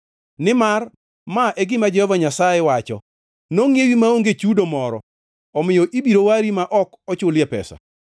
Nimar ma e gima Jehova Nyasaye wacho: “Nongʼiewi maonge chudo moro, omiyo ibiro wari ma ok ochulie pesa.”